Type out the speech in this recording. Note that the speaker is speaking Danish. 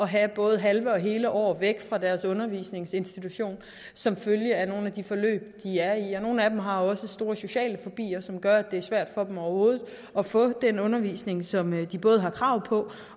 have både halve og hele år væk fra deres undervisningsinstitution som følge af nogle af de forløb de er i nogle af dem har også store sociale fobier som gør at det er svært for dem overhovedet at få den undervisning som de både har krav på